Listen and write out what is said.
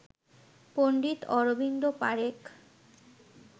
Pandit Arvind Parekh